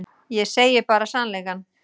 Ég segi bara sannleikann.